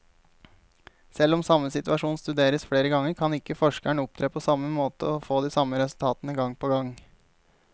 Selv om samme situasjon studeres flere ganger, kan ikke forskeren opptre på samme måte og få de samme resultatene gang på gang.